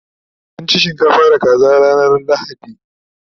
mun ci shinkafa da kaza ranar lahadi